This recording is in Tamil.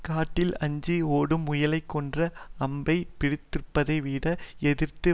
காட்டில் அஞ்சி ஓடும் முயலைக் கொன்ற அம்பைப் பிடித்திருப்பதை விட எதிர்த்து